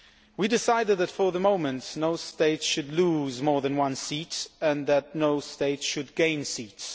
We decided that for the moment no state should lose more than one seat and that no state should gain seats.